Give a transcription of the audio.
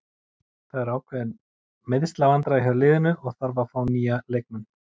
Það eru ákveðin meiðslavandræði hjá liðinu og þarf að fá nýja leikmenn.